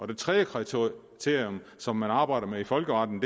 det tredje kriterium som man arbejder med i folkeretten